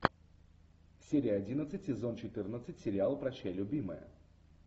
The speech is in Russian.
серия одиннадцать сезон четырнадцать сериал прощай любимая